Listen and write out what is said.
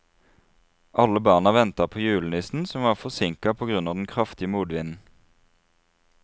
Alle barna ventet på julenissen, som var forsinket på grunn av den kraftige motvinden.